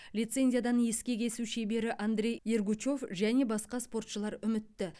лицензиядан ескек есу шебері андрей ергучев және басқа спортшылар үмітті